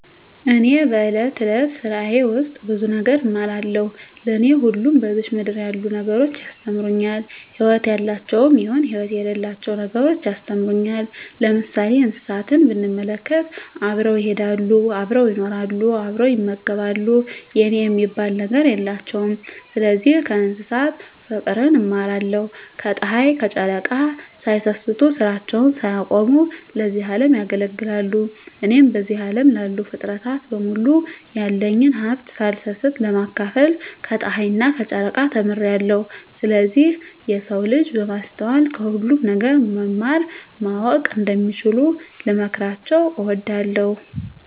እኔ በእለት እለት ስራየ ውስጥ ብዙ ነገር እማራለሁ። ለኔ ሁሉም በዝች ምድር ያሉ ነገሮች ያስተምሩኛል ህይወት ያላቸውም ይሁን ህይወት የሌላቸው ነገሮች ያስተምሩኛል። ለምሳሌ እንስሳትን ብንመለከት አብረው ይሄዳሉ አብረው ይኖራሉ አብረው ይመገባሉ የኔ የሚባል ነገር የላቸውም ስለዚህ ከእንስሳት ፉቅርን እማራለሁ። ከጽሀይ ከጨረቃ ሳይሰስቱ ስራቸውን ሳያቆሙ ለዚህ አለም ያገለግላሉ። እኔም በዚህ አለም ላሉ ፉጥረታት በሙሉ ያለኝን ሀብት ሳልሰስት ለማካፈል ከጸሀይና ከጨረቃ ተምሬአለሁ። ስለዚህ የሰው ልጅ በማስተዋል ከሁሉም ነገር መማር ማወቅ እንደሚችሉ ልመክራቸው እወዳለሁ።